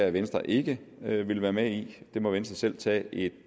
at venstre ikke vil være med i det må venstre selv tage